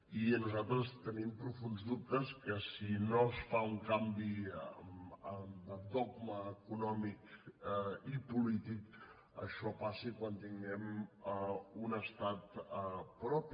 i nosaltres tenim profunds dubtes que si no es fa un canvi de dogma econòmic i polític això passi quan tinguem un estat propi